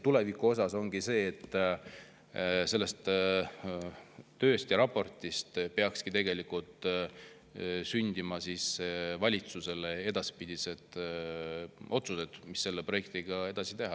Tulevikus peaks selle töö ja raporti põhjal sündima valitsuse edaspidised otsused, mida selle projektiga edasi teha.